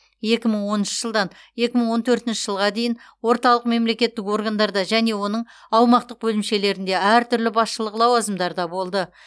екі мың оныншы жылдан екі мың он төртінші жылға дейін орталық мемлекеттік органдарда және оның аумақтық бөлімшелерінде әртүрлі басшылық лауазымдарда болды